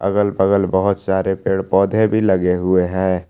अगल बगल बहोत सारे पेड़ पौधे भी लगे हुए हैं।